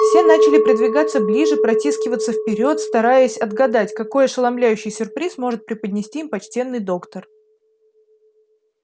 все начали придвигаться ближе протискиваться вперёд стараясь отгадать какой ошеломляющий сюрприз может преподнести им почтенный доктор